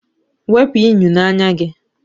Wepu unyi n'anya gị!